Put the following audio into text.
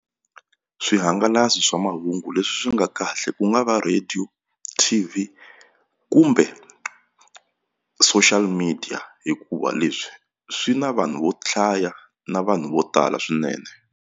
Swihangalasi swa mahungu leswi nga kahle ku nga va radio, T_V kumbe social media hikuva leswi swi na vanhu vo hlaya na vanhu vo tala swinene.